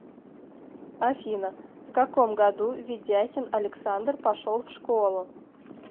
афина в каком году ведяхин александр пошел в школу